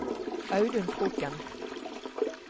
Audun Kroken